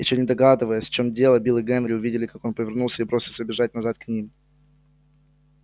ещё не догадываясь в чём дело билл и генри увидели как он повернулся и бросился бежать назад к ним